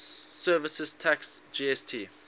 services tax gst